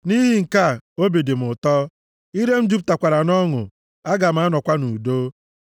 Nʼihi nke a, obi dị m ụtọ, ire m jupụtakwara nʼọṅụ; aga m anọkwa nʼudo.